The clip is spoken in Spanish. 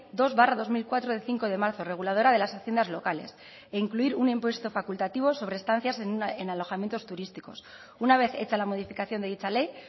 dos barra dos mil cuatro de cinco de marzo reguladora de las haciendas locales e incluir un impuesto facultativo sobre estancias en alojamientos turísticos una vez hecha la modificación de dicha ley